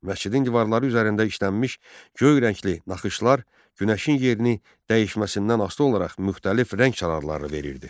Məscidin divarları üzərində işlənmiş göy rəngli naxışlar günəşin yerini dəyişməsindən asılı olaraq müxtəlif rəng çalarını verirdi.